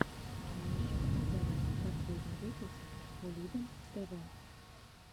можешь показать последний выпуск кулибин тв